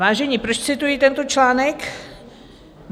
Vážení, proč cituji tento článek?